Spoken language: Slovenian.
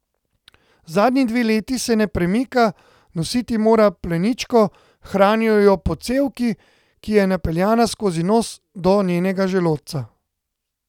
Zadnji dve leti se ne premika, nositi mora pleničko, hranijo jo po cevki, ki je napeljana skozi nos do njenega želodca.